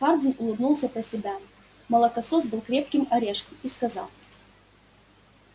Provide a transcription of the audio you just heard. хардин улыбнулся про себя молокосос был крепким орешком и сказал